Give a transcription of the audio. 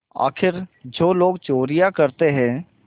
आखिर जो लोग चोरियॉँ करते हैं